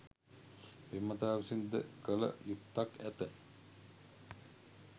පෙම්වතා විසින් ද කළ යුත්තක් ඇත